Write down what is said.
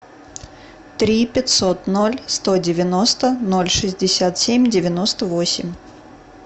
три пятьсот ноль сто девяносто ноль шестьдесят семь девяносто восемь